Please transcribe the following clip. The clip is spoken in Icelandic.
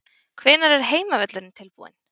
Hvenær er heimavöllurinn tilbúinn?